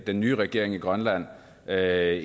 den nye regering i grønland er